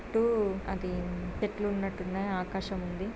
చుట్టూ అది తెడ్లు ఉన్నట్టున్నాయి చుట్టూ ఆకాశం ఉంది.